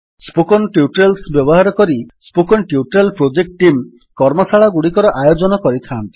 spoken tutorials ବ୍ୟବହାର କରି spoken tutorial project team କର୍ମଶାଳାଗୁଡ଼ିକର ଆୟୋଜନ କରିଥାନ୍ତି